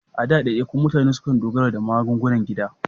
A da, daidaikun mutane sukan dogara da magungunan gida.